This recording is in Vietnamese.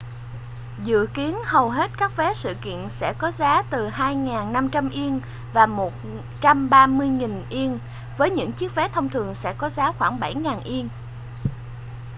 dự kiến hầu hết các vé sự kiện sẽ có giá từ ¥2.500 và ¥130.000 với những chiếc vé thông thường sẽ có giá khoảng ¥7,000